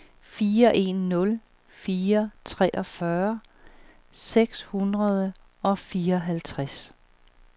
fire en nul fire treogfyrre seks hundrede og fireoghalvtreds